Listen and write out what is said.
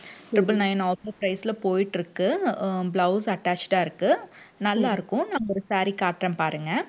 triple nine offer price ல போயிட்டு இருக்கு. அஹ் blouse attached ஆ இருக்கு. நல்லா இருக்கும் நான் ஒரு saree காட்டறேன் பாருங்க.